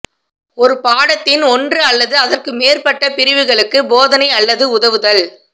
ஒரு பாடத்தின் ஒன்று அல்லது அதற்கு மேற்பட்ட பிரிவுகளுக்கு போதனை அல்லது உதவுதல்